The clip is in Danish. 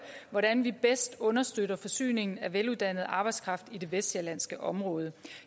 hvordan vi bedst understøtter forsyningen af veluddannet arbejdskraft i det vestsjællandske område